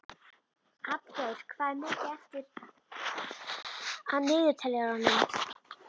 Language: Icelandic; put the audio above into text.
Hallgeir, hvað er mikið eftir af niðurteljaranum?